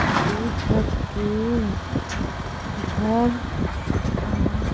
दू छत के घर आ--